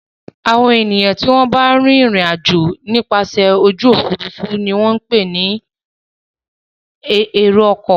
Àwọn ènìyàn tí wọ́n ń bá rìnrìn-àjò nípasẹ̀ ojú òfurufú ni wọ́n ń pè ní èrò-ọkọ̀.